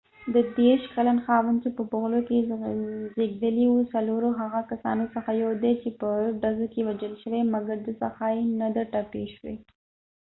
ديرش کلن خاوند چې په بفلو کې زیږیدلی و د څلورو هغه کسانو څخه یو دي چې په ډزو کې وژل شوي مګر د ښڅه یې نه ده ټپی شوي